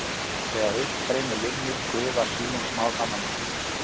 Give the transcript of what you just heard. Þegar uppstreymi linnir gufa skýin smám saman upp.